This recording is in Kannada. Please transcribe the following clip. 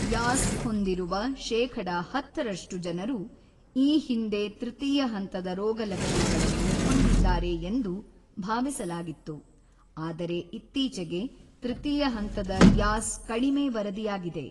ಯಾಸ್‌ ಹೊಂದಿರುವ ಶೇಖಡ ಹತ್ತರಷ್ಟು ಜನರು ಈ ಹಿಂದೆ ತೃತೀಯ ಹಂತದ ರೋಗಲಕ್ಷಣಗಳನ್ನು ಹೊಂದಿದ್ದಾರೆ ಎಂದು ಭಾವಿಸಲಾಗಿತ್ತು, ಆದರೆ ಇತ್ತೀಚೆಗೆ, ತೃತೀಯ ಹಂತದ ಯಾಸ್ ಕಡಿಮೆ ವರದಿಯಾಗಿದೆ.